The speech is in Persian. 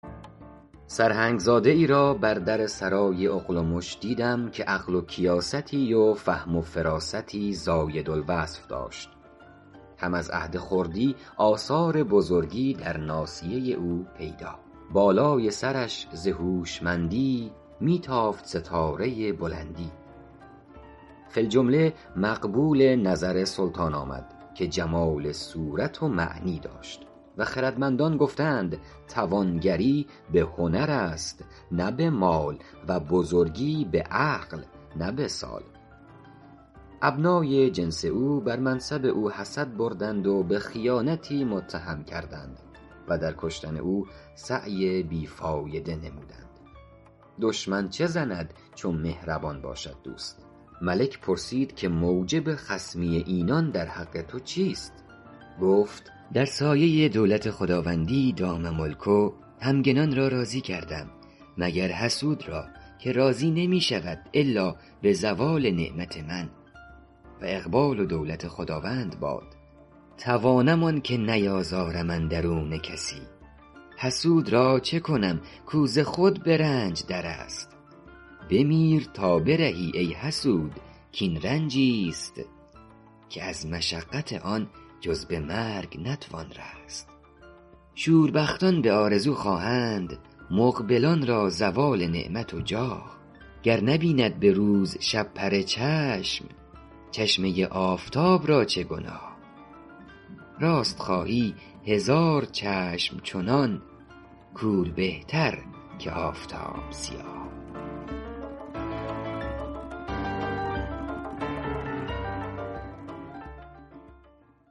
سرهنگ زاده ای را بر در سرای اغلمش دیدم که عقل و کیاستی و فهم و فراستی زاید الوصف داشت هم از عهد خردی آثار بزرگی در ناصیه او پیدا بالای سرش ز هوشمندی می تافت ستاره بلندی فی الجمله مقبول نظر سلطان آمد که جمال صورت و معنی داشت و خردمندان گفته اند توانگری به هنر است نه به مال و بزرگی به عقل نه به سال ابنای جنس او بر منصب او حسد بردند و به خیانتی متهم کردند و در کشتن او سعی بی فایده نمودند دشمن چه زند چو مهربان باشد دوست ملک پرسید که موجب خصمی اینان در حق تو چیست گفت در سایه دولت خداوندی دام ملکه همگنان را راضی کردم مگر حسود را که راضی نمی شود الا به زوال نعمت من و اقبال و دولت خداوند باد توانم آنکه نیازارم اندرون کسی حسود را چه کنم کو ز خود به رنج در است بمیر تا برهی ای حسود کاین رنجی ست که از مشقت آن جز به مرگ نتوان رست شوربختان به آرزو خواهند مقبلان را زوال نعمت و جاه گر نبیند به روز شپره چشم چشمه آفتاب را چه گناه راست خواهی هزار چشم چنان کور بهتر که آفتاب سیاه